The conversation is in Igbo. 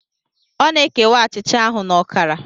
Ọ na-ekewa achịcha ahụ na ọkara.